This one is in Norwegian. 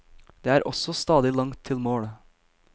Det er også stadig langt til mål.